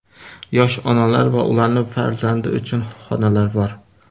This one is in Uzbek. Yosh onalar va ularning farzandi uchun xonalar bor.